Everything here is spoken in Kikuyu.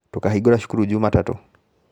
Tũkahingũra cukuru Njumatatũ